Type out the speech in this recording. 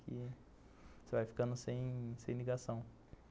Que você vai ficando sem ligação.